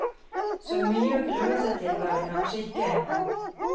Så mye å grue seg til var det kanskje ikke.